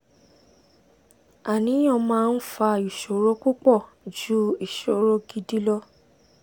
àníyàn máa ń fa ìṣòro púpọ̀ ju ìṣòro gidi lọ